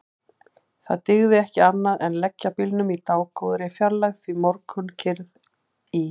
Það dygði ekki annað en leggja bílnum í dágóðri fjarlægð því morgunkyrrð í